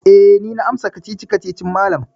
Eh, ni na amsa kacici-kacicin malam.